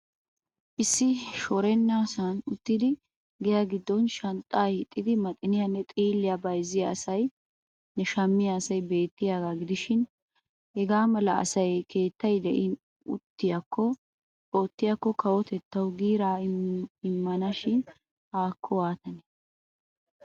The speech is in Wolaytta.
Issi shorennasaan uttidi giya gidon shanxxaa hiixxidi maxiniyanne xiilliya bayzziya asaynne shammiya asay beettiyaga gidishshiin hagaa mala asaykka keettay de'iin ottiyakko kawotettawu giiraa immana shin haakko waatane!